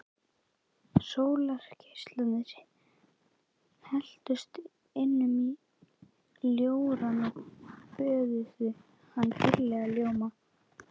Sólargeislarnir helltust inn um ljórann og böðuðu hann dýrlegum ljóma.